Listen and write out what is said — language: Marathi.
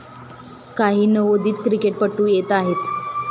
काही नवोदित क्रिकेटपटू येत आहेत.